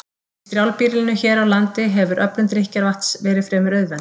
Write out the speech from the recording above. Í strjálbýlinu hér á landi hefur öflun drykkjarvatns verið fremur auðveld.